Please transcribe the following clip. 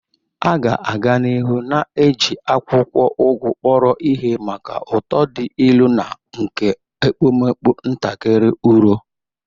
A ga-aga n'ihu na-eji akwụkwọ Ugu kpọrọ ihe maka ụtọ dị ilu na nke ekpomekpo ntakịrị uro.